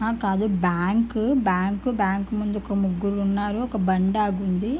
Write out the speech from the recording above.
ఆ కాదు bank bank bank ముందు ఒక ముగ్గురు ఉన్నాడు ఒక బండి ఆగి ఉంది.